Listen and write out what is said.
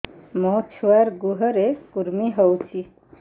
ମୋ ଛୁଆର୍ ଗୁହରେ କୁର୍ମି ହଉଚି